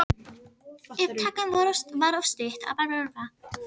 En varla eru það samt eigin orð flugnanna.